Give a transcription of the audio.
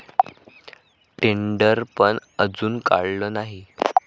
टेंडरपण अजून काढलं नाही.